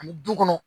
Ani du kɔnɔ